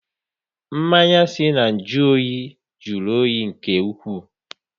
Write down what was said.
Mmanya si na nju oyi jụrụ oyi nke ụkwụ